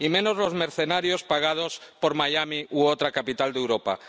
Y menos, los mercenarios pagados por Miami u otra capital de Europa.